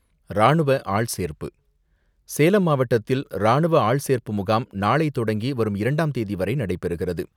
ராணுவ ஆள்சேர்ப்பு சேலம் மாவட்டத்தில், ராணுவ ஆள்சேர்ப்பு முகாம், நாளை தொடங்கி வரும் இரண்டாம் தேதிவரை நடைபெறுகிறது.